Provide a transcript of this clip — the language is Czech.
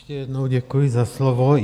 Ještě jednou děkuji za slovo.